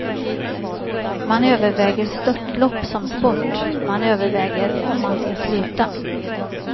Man överväger störtlopp som sport, man överväger om man ska sluta.